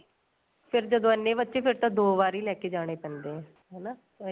ਫੇਰ ਜਦੋਂ ਇੰਨੇ ਬੱਚੇ ਫੇਰ ਤਾਂ ਦੋ ਵਾਰੀ ਲੈਕੇ ਜਾਣੇ ਪੈਂਦੇ ਏ ਹਨਾ ਇੱਕ